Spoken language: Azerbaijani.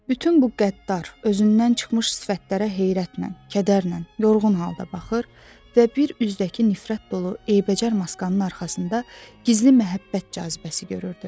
Bütün bu qəddar, özündən çıxmış sifətlərə heyrətlə, kədərlə, yorğun halda baxır və bir üzdəki nifrət dolu eybəcər maskanın arxasında gizli məhəbbət cazibəsi görürdü.